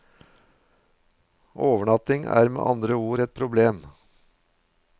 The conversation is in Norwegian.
Overnatting er med andre ord et problem.